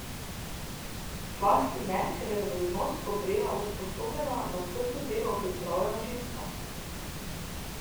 Zlasti ne, ker je za dolžnost poprijela usposobljena, na trdo delo pripravljena ženska.